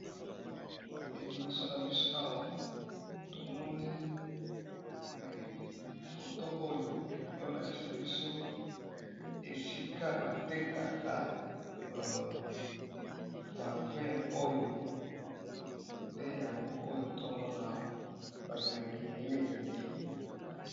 eliboso na biso awa tomoni foto oyo eolakisa biso esika batekaka ba 2 oyo nde yango oyo tomona awa bamilangi ebele ebele